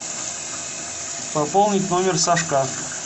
пополнить номер сашка